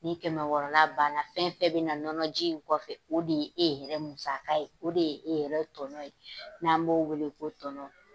Ni kɛmɛ wɔɔrɔ la ban na fɛn fɛn bɛ na nɔnɔ ji in kɔfɛ o de ye e yɛrɛ musaka ye o de ye e yɛrɛ tɔnɔn ye n'an b'o wele ko tɔnɔn.